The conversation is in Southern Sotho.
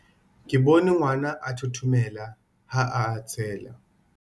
Ke bone ngwana a thothomela ha a hatsela.